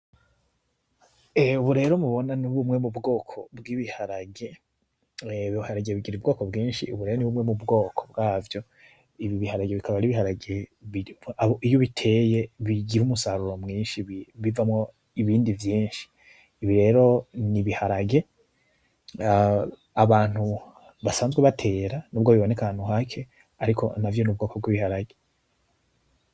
Ehe ubu rero mubona ni bumwe m'ubwoko bw'ibiharage. Ibiharage bigira ubwoko bwinshi ubu rero ni bumwe mw'ubwoko bwavyo. Ibi b'Iharage akaba ari Ibiharage iyo ubiteye bigira umusaruro mwinshi bivamwo ibindi vyinshi. Ibi rero n'Ibiharage abantu basanzwe batera n'ubwo biboneka ahantu hake ariko navyo n'ubwoko bw'Ibiharage.